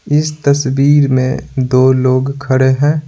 इस तस्वीर में दो लोग खड़े हैं।